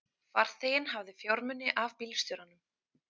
Farþeginn hafði fjármuni af bílstjóranum